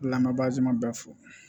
Lamagaji ma bɛɛ fo